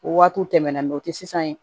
O waatiw tɛmɛnna sisan